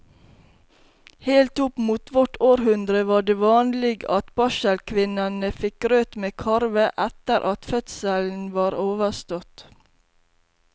Helt opp mot vårt århundre var det vanlig at barselkvinnene fikk grøt med karve etter at fødselen var overstått.